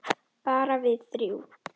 Bara við þrjú.